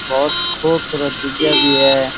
बहुत खूबसूरत जिज्ञा भी है।